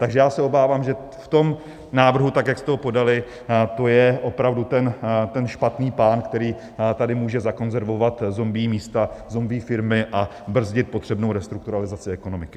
Takže já se obávám, že v tom návrhu, tak jak jste ho podali, to je opravdu ten špatný pán, který tady může zakonzervovat zombie místa, zombie firmy a brzdit potřebnou restrukturalizaci ekonomiky.